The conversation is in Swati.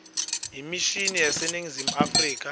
emishini yaseningizimu afrika